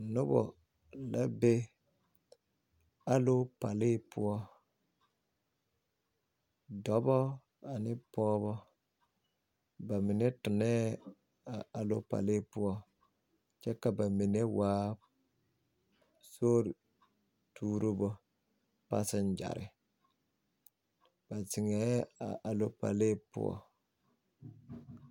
Noba la be aloopalee poɔ dɔba ane pɔgeba ba mine tonɛɛ a aloopalee poɔ kyɛ ka ba mine waa sori turibo paaseŋgyɛre ba ziŋ la aloopalee poɔ.